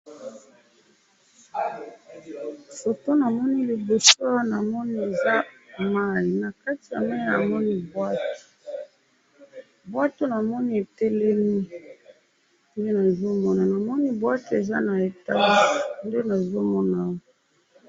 Photo namoni liboso awa namoni eza mayi na kati ya mayi namoni bwaki ,bwaki namoni etelemi ,nde nazo mona namoni bwaki eza na etage nde nazomona awa